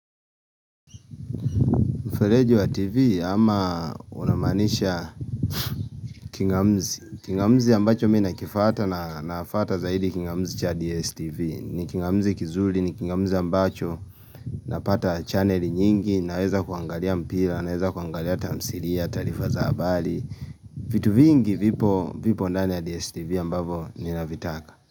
Mfereji wa TV ama unamaanisha kingamuzi. Kingamuzi ambacho mi na kifuata na nafuata zaidi kingamuzi cha DSTV. Ni kingamuzi kizuli, ni kingamuzi ambacho. Napata channeli nyingi, naweza kuangalia mpira, naweza kuangalia tamsilia, taarifa za habari. Vitu vingi vipo vipo ndani ya DSTV ambavyo ni navitaka.